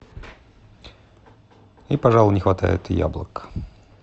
и пожалуй не хватает яблок